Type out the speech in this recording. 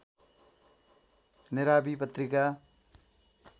नेरावि पत्रिका